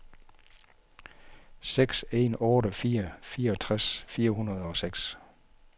seks en otte fire fireogtres fire hundrede og seks